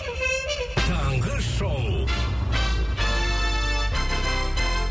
таңғы шоу